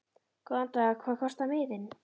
Góðan dag. Hvað kostar miðinn?